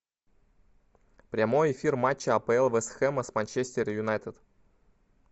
прямой эфир матча апл вест хэма с манчестер юнайтед